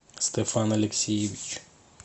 стефан алексеевич